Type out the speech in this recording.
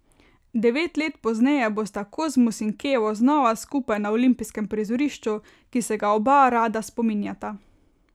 Devet let pozneje bosta Kozmus in Kevo znova skupaj na olimpijskem prizorišču, ki se ga oba rada spominjata.